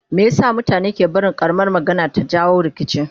Meye sa mutane ke barin ƙaramar magana ta jawo rikici?